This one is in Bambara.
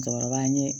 Cɛkɔrɔba ye